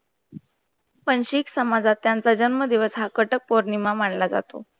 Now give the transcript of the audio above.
पंचीक समाजात त्यांचा जन्म दिवस हा कटाप पौर्णिमा मानला जातो.